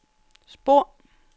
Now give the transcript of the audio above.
spor